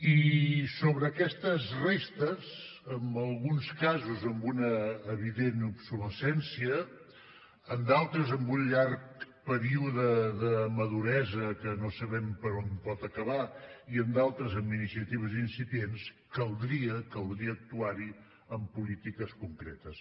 i sobre aquestes restes en alguns casos amb una evident obsolescència en d’altres amb un llarg període de maduresa que no sabem per on pot acabar i en d’altres amb iniciatives incipients caldria caldria actuar hi amb polítiques concretes